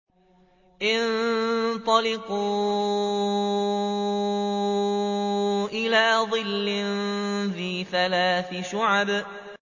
انطَلِقُوا إِلَىٰ ظِلٍّ ذِي ثَلَاثِ شُعَبٍ